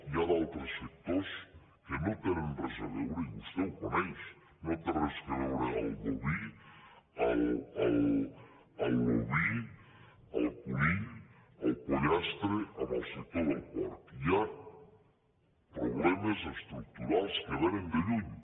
hi ha d’altres sectors que no tenen res a veure i vostè ho coneix no té res a veure el boví l’oví el conill el pollastre amb el sector del porc hi ha problemes estructurals que vénen de lluny